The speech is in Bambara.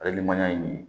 Alimanya in nin